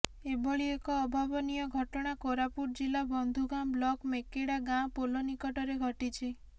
ଏଭଳି ଏକ ଅଭାବନୀୟ ଘଟଣା କୋରାପୁଟ ଜିଲ୍ଲା ବନ୍ଧୁଗାଁ ବ୍ଲକ ମେକେଡା ଗାଁ ପୋଲ ନିକଟରେ ଘଟିଛି